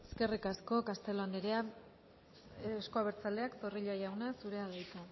eskerrik asko castelo anderea euzko abertzaleak zorrilla jauna zurea da hitza